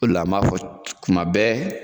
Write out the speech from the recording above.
O de la m'a fɔ kuma bɛɛ